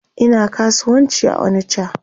Ina kasuwanci a onicha